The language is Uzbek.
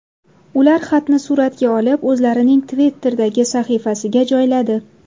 Ular xatni suratga olib o‘zlarining Twitter’dagi sahifasiga joyladi.